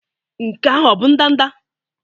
Nke ahụ ọ bụ ndanda?